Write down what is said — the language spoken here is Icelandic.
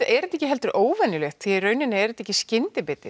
er þetta ekki heldur óvenjulegt því í rauninni er þetta ekki skyndibiti